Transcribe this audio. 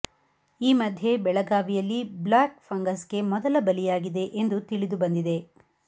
ಈ ಮಧ್ಯೆ ಬೆಳಗಾವಿಯಲ್ಲಿ ಬ್ಯ್ಲಾಕ್ ಫಂಗಸ್ ಗೆ ಮೊದಲ ಬಲಿಯಾಗಿದೆ ಎಂದು ತಿಳಿದು ಬಂದಿದೆ